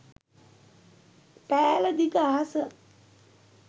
පෑල දිග අහස